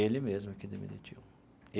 Ele mesmo que me demitiu.